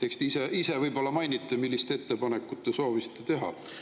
Eks te ise võib-olla mainite, milliseid ettepanekuid te soovisite teha.